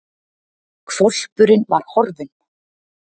Hvolpurinn var horfinn!